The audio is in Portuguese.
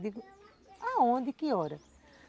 Digo, aonde, que hora?